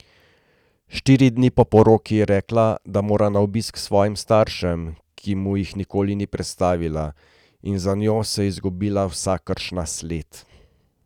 Štiri dni po poroki je rekla, da mora na obisk k svojim staršem, ki mu jih nikoli ni predstavila, in za njo se je izgubila vsakršna sled.